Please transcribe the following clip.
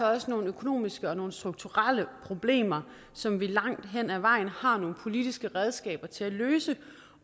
også nogle økonomiske og nogle strukturelle problemer som vi langt hen ad vejen har nogle politiske redskaber til at løse